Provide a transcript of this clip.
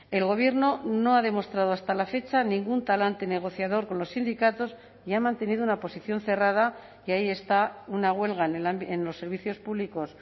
el gobierno no ha demostrado hasta la fecha ningún talante negociador con los sindicatos y ha mantenido una posición cerrada y ahí está una huelga en los servicios públicos